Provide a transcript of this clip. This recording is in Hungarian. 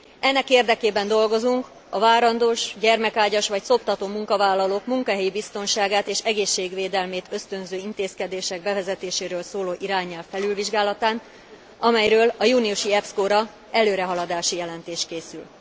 Ennek érdekében dolgozunk a várandós, gyermekágyas, vagy szoptató munkavállalók munkahelyi biztonságát és egészségvédelmét ösztönző intézkedések bevezetéséről szóló irányelv felülvizsgálatán, amelyről a júniusi EPSCO ra előrehaladási jelentés készül.